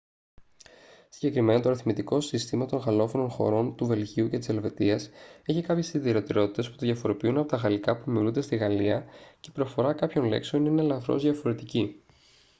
συγκεκριμένα το αριθμητικό σύστημα των γαλλόφωνων χωρών του βελγίου και της ελβετίας έχει κάποιες ιδιαιτερότητες που το διαφοροποιούν από τα γαλλικά που ομιλούνται στη γαλλία και η προφορά κάποιων λέξεων είναι ελαφρώς διαφορετική